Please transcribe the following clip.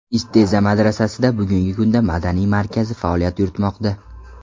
Isteza madrasasida bugungi kunda madaniyat markazi faoliyat yuritmoqda.